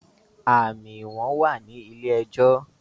àmì ìwọ̀n wà ní ilé ẹjọ́